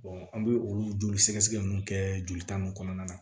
an bɛ olu joli sɛgɛsɛgɛ ninnu kɛ jolita ninnu kɔnɔna na